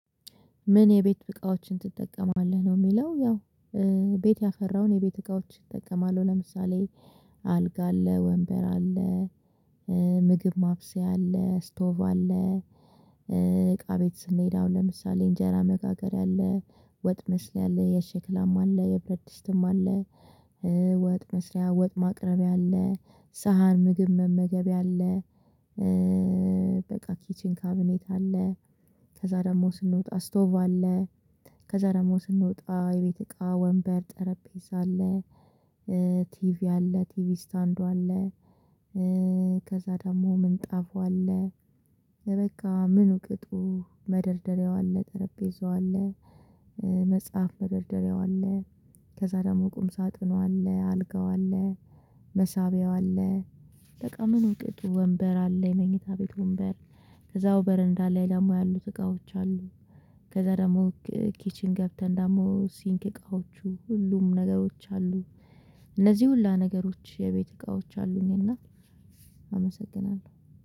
ምን የቤት እቃዎችን ትጠቀማለህ ነው የሚለው? ያው ቤት ያፈራውን የቤት እቃዎች እጠቀማለሁ። ለምሳሌ አልጋ አለ ወንበር አለ ምግብ ማብሰያ አለ ስቶቭ አለ። እቃ ቤት ስንሄድ አሁን ለምሳሌ እንጀራ መጋገሪያ አለ ወጥ መስሪያ አለ የሸክላማ አለ የብረት ድስትም አለ። ወጥ መስሪያ ወጥ ማቅረቢያ አለ ሳህን ምግብ መመገቢያ አለ። በቃ ኪቺን ካቢኔት አለ ከዛ ደግሞ ስንወጣ ስቶቭ አለ። ከዛ ደግሞ ስንወጣ የቤት እቃ ወንበር ጠረጴዛ አለ ቲቪ አለ ቲቪ ስታንዱ አለ። ከዛ ደግሞ ምንጣፉ አለ በቃ ምን ቅጡ መደርደሪያው አለ ጠረጴዛው አለ። መጽሐፍ መደርደሪያው አለ ከዛ ደግሞ ቁም ሳጥኑ አለ አልጋው አለ። መሳቢያው አለ በቃ ምኑ ቅጡ ወንበር አለ የመኝታ ቤት ወንበር እዛው በረንዳ ላይ ደግሞ ያሉት እቃዎች አሉ። ከዛ ደግሞ ኪችን ገብተን ደግሞ ሲንክ እቃዎቹ ሁሉም ነገሮች አሉ እነዚህ ሁላ ነገሮች የቤት እቃዎች አሉኝ። እና አመሰግናለሁ